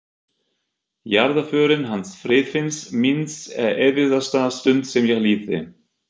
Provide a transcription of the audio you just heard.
Jarðarförin hans Friðfinns míns er erfiðasta stund sem ég lifði.